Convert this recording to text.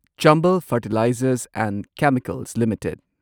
Chambal fertilizers and chemicals limited